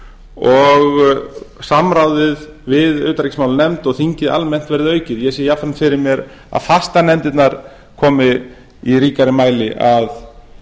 og samráðið við utanríkismálanefnd og þingið almennt verði aukið ég sé jafnframt fyrir mér að fastanefndirnar komi í ríkari mæli að